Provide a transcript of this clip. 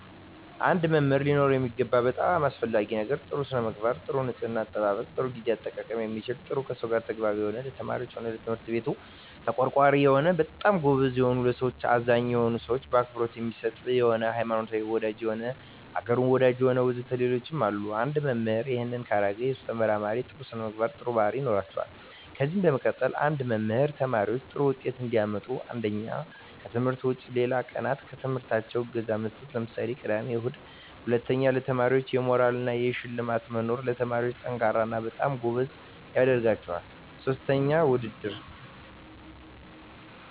አንድ መምህር ሊኖረው የሚገባው በጣም አሰፈላጊ ነገር ጥሩ ስነምግባር ጥሩ ንጽሕና አጠባበቅ ጥሩ ግዜ አጠቃቀም የሚችል ጥሩ ከሰው ጋር ተግባቢ የሆነ ለተማሪዎች ሆነ ለትምህርት ቤቱ ተቆርቋሪ የሆነ በጣም ጎበዝ የሆነ ለሠዎች አዛኝ የሆነ ሰው አክብሮት የሚሰጥ የሆነ ሀይማኖት ወዳጅ የሆነ አገሩን ወዳጅ የሆነ ወዘተ ሌሎችም አሉ እና አንድ መምህራን እሄን ካረገ የሱ ተመራማሪዎች ጥሩ ስነምግባር ጥሩ ባህሪያት ይኖራቸዋል ከዚ በመቀጠል አንድ መምህር ተማሪዎች ጥሩ ውጤት እንዲያመጡ አንደኛ ከትምህርት ውጭ ሌላ ቀናት በትምህርታቸው እገዛ መስጠት ለምሳሌ ቅዳሜ እሁድ ሁለተኛ ለተማሪዎች የሞራል እና የሽልማት መኖር ተማሪዎች &ጠንካራ እና በጣም ጎበዝ ያደረጋቸዋል ሥስተኛ ውድድር